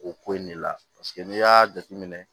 O ko in de la n'i y'a jateminɛ